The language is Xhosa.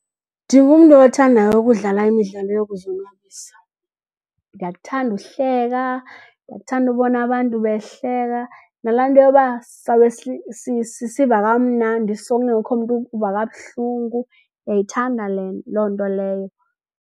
Ndingumntu othandayo ukudlala imidlalo yokuzonwabisa. Ndiyakuthanda uhleka ndiyakuthanda ubona abantu behleka nala nto yokuba sawube sisiva kamnandi sonke kungekho mntu uva kabuhlungu, ndiyayithanda loo nto leyo.